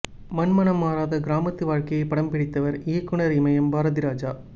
மண் மனம் மாறாத கிராமத்து வாழ்க்கையை படம் பிடித்தவர் இயக்குநர் இமயம் பாரதிராஜா